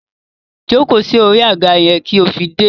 Jóko sí orí àga yẹn kí ó fi dé!